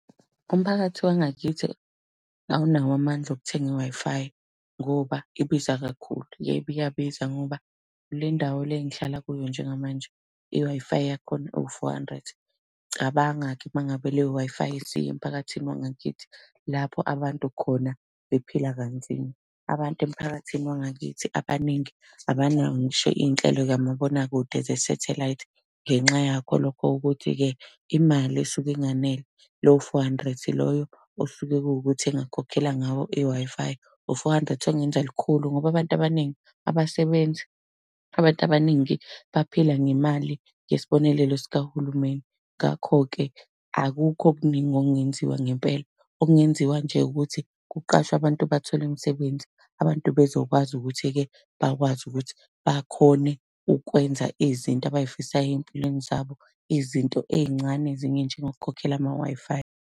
Umphakathi wangakithi awunawo amandla okuthenga i-Wi-Fi, ngoba ibiza kakhulu. Yebo, iyabiza ngoba le ndawo le engihlala kuyo njengamanje, i-Wi-Fi yakhona iwu-four hundred. Cabanga-ke uma ngabe leyo-Wi-Fi isiya emphakathini wangakithi lapho abantu khona bephila kanzima. Abantu emphakathini wangakithi abaningi abanawo ngisho iy'nhlelo zikamabonakude zesathelayithi, ngenxa yakho lokho ukuthi-ke, imali isuke inganele lowo-four hundred loyo osuke kuwukuthi engakhokhela ngawo i-Wi-Fi. Lo four hundred ongenza lukhulu ngoba abantu abaningi abasebenzi, abantu abaningi baphila ngemali yesibonelelo sikahulumeni. Ngakho-ke, akukho okuningi okungenziwa ngempela, okungenziwa nje ukuthi kuqashwe abantu bathole imisebenzi, abantu bezokwazi ukuthi-ke bakwazi ukuthi bakhone ukwenza izinto abay'fisayo ey'mpilweni zabo, izinto ey'ncane ezinye ey'njengo kukhokhela ama-Wi-Fi.